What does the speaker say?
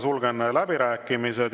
Sulgen läbirääkimised.